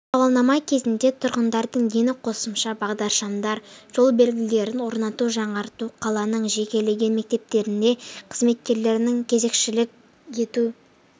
сауалнама кезінде тұрғындардың дені қосымша бағдаршамдар жол белгілерін орнату жаңарту қаланың жекелеген мектептерінде қызметкерлерінің кезекшілік етуі